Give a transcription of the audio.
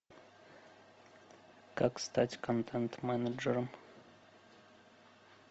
как стать контент менеджером